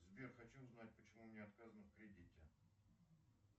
сбер хочу узнать почему мне отказано в кредите